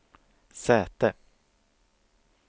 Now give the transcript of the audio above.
säte